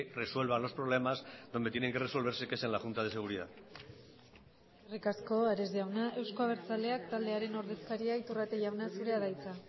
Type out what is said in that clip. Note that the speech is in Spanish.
resuelva los problemas donde tienen que resolverse que es en la junta de seguridad eskerrik asko ares jauna euzko abertzaleak taldearen ordezkaria iturrate jauna zurea da hitza